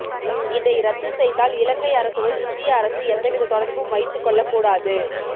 இதை ரத்து செய்தால் இலங்கை அரசுடன் இந்திய அரசு எந்தவித தொடர்பும் வைத்து கொள்ளகூடாது